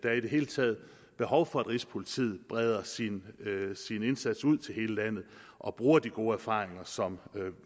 er i det hele taget behov for at rigspolitiet breder sin indsats ud til hele landet og bruger de gode erfaringer som